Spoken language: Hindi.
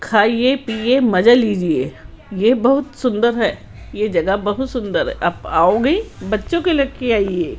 खाइए पिए मजा लीजिए ये बहुत सुंदर है ये जगह बहुत सुंदर है आप आओगे बच्चों को लेके आइए।